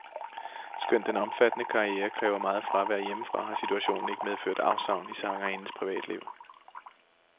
Skønt den omfattende karriere kræver meget fravær hjemmefra, har situationen ikke medført afsavn i sangerindens privatliv.